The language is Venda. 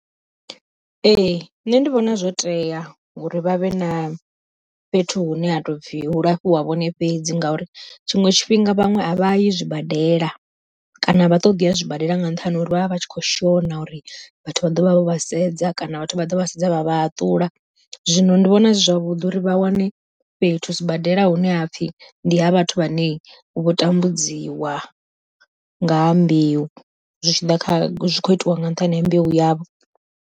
Ee nṋe ndi vhona zwo tea ngori vha vhe na fhethu hune ha to pfhi hu lafhiwa vhone fhedzi ngauri tshiṅwe tshifhinga vhaṅwe a vha yi zwibadela kana avha ṱoḓi ya zwibadela nga nṱhani ha uri vha vha vha tshi kho shona uri vhathu vha ḓovha vho vha sedza kana vhathu vha ḓo vha sedza vha vha haṱula. Zwino ndi vhona zwi zwavhuḓi uri vha wane fhethu sibadela hune ha pfhi ndi ha vhathu vhane vho tambudziwa, nga ha mbeu zwi tshi ḓa kha zwi kho itiwa nga nṱhani ha mbeu yavho.